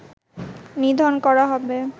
নিধন করা হবে